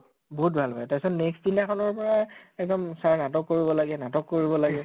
বহুত ভাল পাই । তাৰ পিছত next দিনা খনৰ পৰা এক্দম sir নাটক কৰিব লাগে , নাটক কৰিব লাগে